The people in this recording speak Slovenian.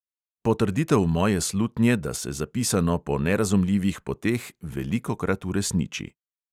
Potrditev moje slutnje, da se zapisano po nerazumljivih poteh velikokrat uresniči.